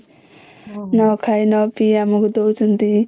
.. ନ ଖାଇ ନ ପି ଆମକୁ ଦଉଛନ୍ତି